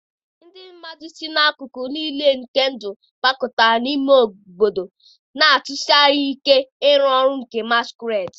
ndị mmadụ si n'akụkụ nile nke ndụ gbakọtara n'ogige ime obodo, na-atụsi anya ike ịrụ ọrụ nke masquerades.